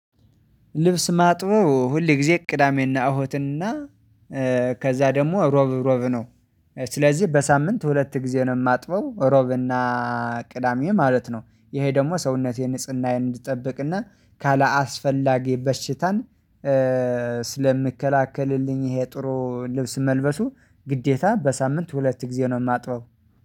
ልብስ ማጥበው ሁል ጊዜ እቅዳሜና እሁድና ከዛ ደግሞ ሮብ ሮብ ነው። ስለዚህ በሳምንት ሁለት ጊዜ ነው የማጥበው ሮብና ቅዳሜ ማለት ነው። ይሄ ደግሞ ሰውነቴን ንጽህናዬን እንድጠብቅና ካላስፈላጊ በሽታን ስለምከላከልልኝ ይሄ ጥሩ ልብስ መልበሱ ግዴታ በሳምንት ሁለት ጊዜ ነው የማጥበው